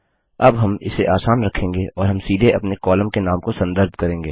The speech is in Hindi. अब हम इसे आसान रखेंगे और हम सीधे अपने कॉलम के नाम को संदर्भ करेंगे